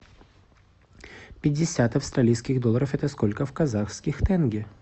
пятьдесят австралийских долларов это сколько в казахских тенге